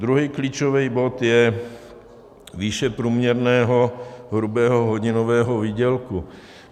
Druhý klíčový bod je výše průměrného hrubého hodinového výdělku.